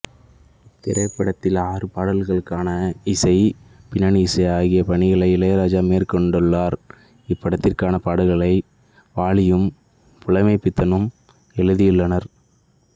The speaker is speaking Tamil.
இத்திரைப்படத்தில் ஆறு பாடல்களுக்கான இசை பின்னணி இசை ஆகியப்பணிகளை இளையராஜா மேற்கொண்டுள்ளார் இப்படத்திற்கான பாடல்களை வாலியும் புலமைப்பித்தனும் எழுதியுள்ளனர்